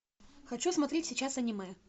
хочу смотреть сейчас аниме